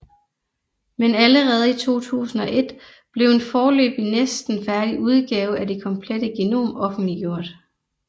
Men allerede i 2001 blev en foreløbig næsten færdig udgave af det komplette genom offentliggjort